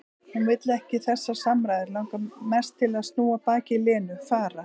Hún vill ekki þessar samræður, langar mest til að snúa baki í Lenu, fara.